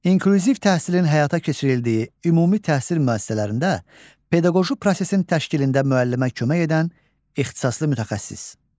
İnklüziv təhsilin həyata keçirildiyi ümumi təhsil müəssisələrində pedaqoji prosesin təşkilində müəllimə kömək edən ixtisaslı mütəxəssis.